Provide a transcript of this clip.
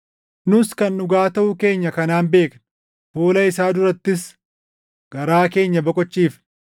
Nus kan dhugaa taʼuu keenya kanaan beekna; fuula isaa durattis garaa keenya boqochiifna.